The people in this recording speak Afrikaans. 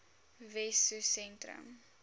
wessosentrum